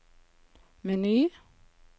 meny